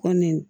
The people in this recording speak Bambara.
Kɔmi